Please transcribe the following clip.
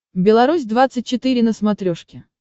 беларусь двадцать четыре на смотрешке